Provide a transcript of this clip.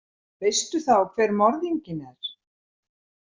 Veistu þá hver morðinginn er?